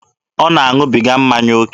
Ọ na-aṅụbiga mmanya oke?